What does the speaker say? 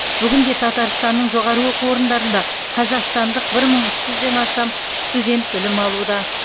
бүгінде татарстанның жоғары оқу орындарында қазақстандық бір мың үш жүзден астам студент білім алуда